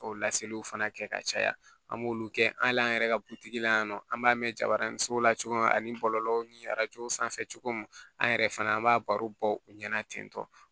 K'o laseliw fana kɛ ka caya an b'olu kɛ hali an yɛrɛ ka butigi la yan nɔ an b'a mɛn jabaranin so la cogo min na ani bɔlɔlɔw ni sanfɛ cogo min an yɛrɛ fana an b'a bɔ u ɲɛna ten tɔ